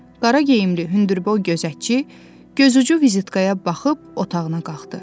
Qara geyimli hündürboy gözətçi gözucu vizitkaya baxıb otağına qalxdı.